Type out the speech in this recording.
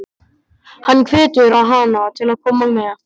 Hann hvetur hana til að koma með.